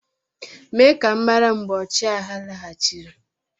mee ka m mara mgbe ọchịagha laghachiri